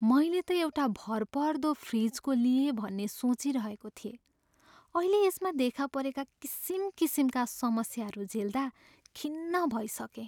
मैले त एउटा भरपर्दो फ्रिजको लिएँ भन्ने सोचिरहेको थिएँ। अहिले यसमा देखा परेका किसिम किसिमका समस्याहरू झेल्दा खिन्न भइसकेँ।